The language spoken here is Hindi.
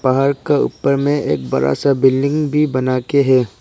पहाड़ का ऊपर में एक बड़ा सा बिल्डिंग बना के है।